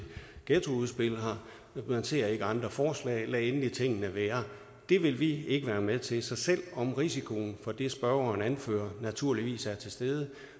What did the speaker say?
ghettoudspil man ser ikke andre forslag lad endelig tingene være det vil vi ikke være med til så selv om risikoen for det spørgeren anfører naturligvis er til stede